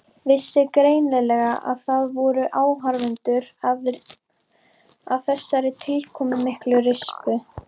Vissi greinilega að það voru áhorfendur að þessari tilkomumiklu rispu.